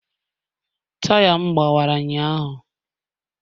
Taya m gbawara ụnyahụ.